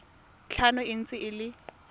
tlhano e ntse e le